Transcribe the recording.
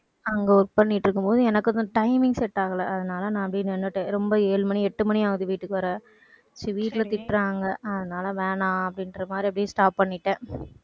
அங்க work பண்ணிட்டு இருக்கும்போது எனக்கு கொஞ்சம் timing set ஆகல. அதனால நான் அப்படியே நின்னுட்டேன். ரொம்ப ஏழு மணி எட்டு மணி ஆகுது வீட்டுக்கு வர, சரி வீட்டுல திட்டுறாங்க. அதனால வேணாம் அப்படின்ற மாதிரி அப்படியே stop பண்ணிட்டேன்.